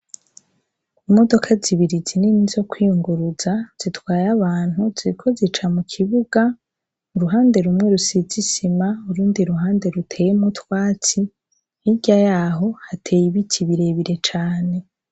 Imodoka zibiri zinini zo kwiyunguruza, zitwaye abantu ziriko zica mu kibuga, uruhande rumwe rusize isima, urundi ruhande ruteyemwo utwatsi, hirya yaho hateye ibiti birebire cane.